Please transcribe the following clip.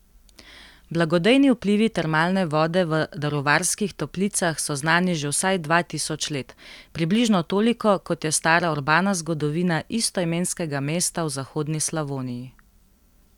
Blagodejni vplivi termalne vode v Daruvarskih toplicah so znani že vsaj dva tisoč let, približno toliko, kot je stara urbana zgodovina istoimenskega mesta v zahodni Slavoniji.